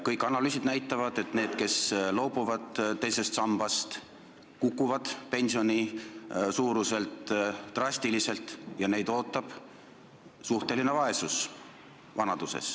Kõik analüüsid näitavad, et inimesed, kes loobuvad teisest sambast, kaotavad pensioni suuruses drastiliselt ja neid ootab vanaduses suhteline vaesus.